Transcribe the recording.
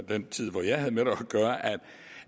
den tid hvor jeg havde med det